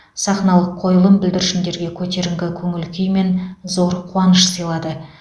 сахналық қойылым бүлдіршіндерге көтеріңкі көңіл күй мен зор қуаныш сыйлады